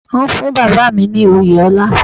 Wọ́n fún Bàbá mi ní oyè ọlá.